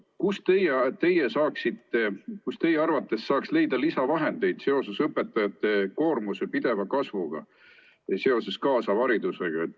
Kust saaks teie arvates leida lisavahendeid seoses õpetajate koormuse pideva kasvuga ja seoses kaasava haridusega?